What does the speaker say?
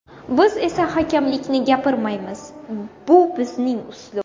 Biz esa hakamlikni gapirmaymiz, bu bizning uslub.